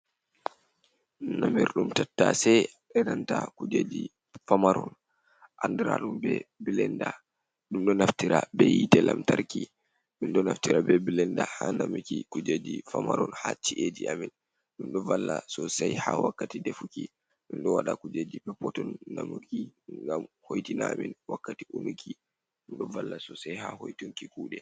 Namirɗum tattasai, eɗanta kujeji famaron, anɗiraɗum ɓe bilenɗa. Ɗum ɗo naftira ɓe hite lantarki. Ɗum ɗo naftira ɓe bilenɗa ha namiki kujeji famaron ha chi’eji amin. Ɗum ɗo valla sosai ha wakkati ɗefuki. Ɗum ɗo waɗa kujeji peppoton namuki. Ngam hoitina amin wakkati umiki ɗum ɗo valla sosai ha hoitunki kuɗe.